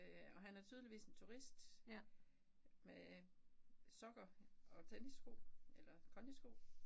Øh og han er tydeligvis en turist med sokker og tennissko eller kondisko